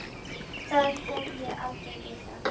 Það hef ég aldrei vitað.